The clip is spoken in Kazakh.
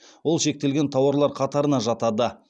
ол шектелген тауарлар қатарына жатады